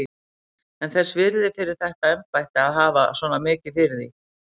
Heimir: En þess virði fyrir þetta embætti að hafa svona mikið fyrir því?